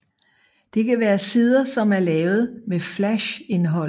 Det kan være sider som er lavet med flash indhold